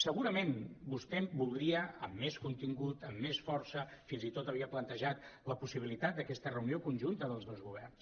segurament vostè el voldria amb més contingut amb més força fins i tot havia plantejat la possibilitat d’aquesta reu·nió conjunta dels dos governs